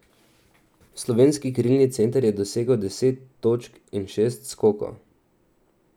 Slovenski krilni center je dosegel deset točk in šest skokov.